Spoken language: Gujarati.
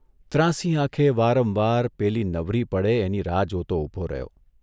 ત્રાંસી આંખે વારંવાર પેલી નવરી પડે એની રાહ જોતો ઊભો રહ્યો.